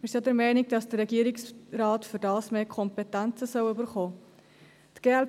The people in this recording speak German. Wir sind auch der Meinung, dass der Regierungsrat dafür mehr Kompetenzen erhalten soll.